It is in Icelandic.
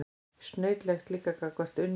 Snautlegt líka gagnvart Unni og